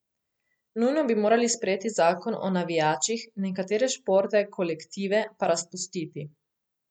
Nujno bi morali sprejeti zakon o navijačih, nekatere športne kolektive pa razpustiti.